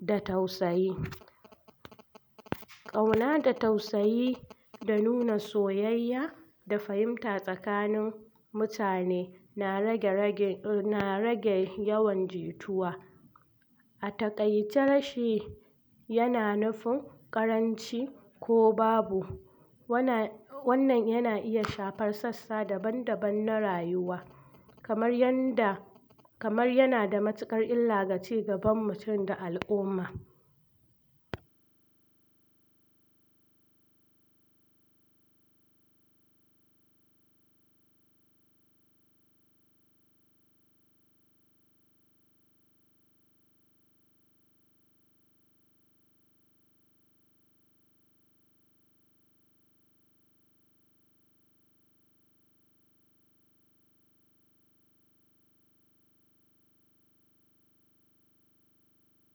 da tausayi ƙauna da tausayi da nuna soyayya da fahimta tsakanin mutane na rage rage yawan jituwa a taƙaici rashi yana nufin ƙaranci ko babu wanna wannan yana iya shafar sassa daban-daban na rayuwa kamar yanda kamar yana da matuƙar ila ga cigaba al'umma